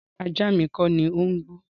Rárá, ajá mi kọ́ni ó ń gbọ́.